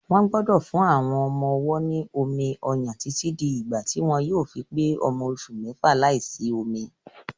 Wọ́n gbọ́dọ̀ fún àwọn ọmọ-ọwọ́ ní omi-ọyàn títí di ìgbà tí wọ́n yóò fi pé ọmọ oṣù mẹ́fà láìsí omi.